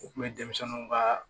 U kun bɛ denmisɛnninw kaaa